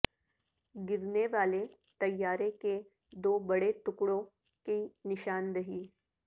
گرنے والے طیارے کے دو بڑے ٹکڑوں کی نشاندہی